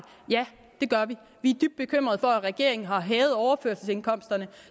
ja det gør vi vi er dybt bekymrede over at regeringen har hævet overførselsindkomsterne